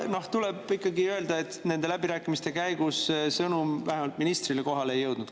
Tuleb ikkagi öelda, et nende läbirääkimiste käigus sõnum vähemalt ministrile kohale ei jõudnud.